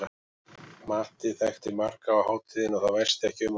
Matti þekkti marga á hátíðinni og það væsti ekki um okkur.